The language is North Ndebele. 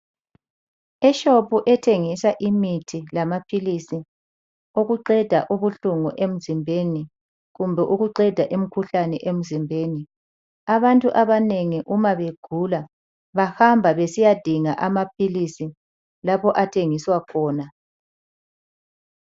Eshopu ethengisa imithi lamaphilisi okuqeda ubuhlungu emzimbeni kumbe ukuqeda imikhuhlane emzimbeni. Abantu abanengi uma begula bahamba besiyadinga amaphilisi lapho athengiswa khona.